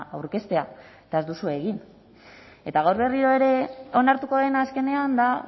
aurkeztea eta ez duzue egin eta gaur berriro ere onartuko dena azkenean da